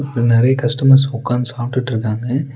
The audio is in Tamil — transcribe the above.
அங்க நெறைய கஸ்டமர்ஸ் உக்காந்து சாப்ட்டுட்ருக்காங்க.